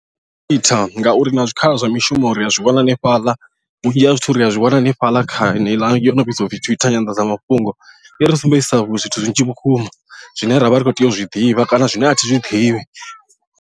Ndi twitter nga khetha ngauri na zwikhala zwa mishumo ri a zwi wana hanefhaḽa vhunzhi ha zwithu ri a zwi wana hanefhaḽa kha yeneiḽa yo no vhidziwa fhethu twitter nyanḓadzamafhungo i ri sumbedzisa zwithu zwinzhi vhukuma zwine ravha ri kho tea u zwi ḓivha kana zwine a thi zwiḓivhi.